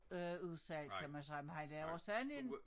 Øh udsalg kan man sige men han laver sandelig en